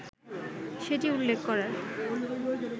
সেটি উল্লেখ করার